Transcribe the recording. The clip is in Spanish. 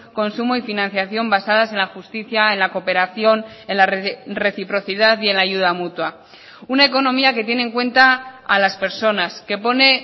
consumo y financiación basadas en la justicia en la cooperación en la reciprocidad y en la ayuda mutua una economía que tiene en cuenta a las personas que pone